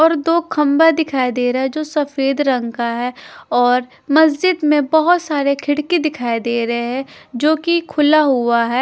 और दो खंभा दिखाई दे रहा है जो सफेद रंग का है और मस्जिद में बहोत सारे खिड़की दिखाई दे रहे हैं जो कि खुला हुआ है।